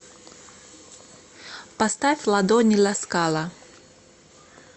поставь ладони ласкала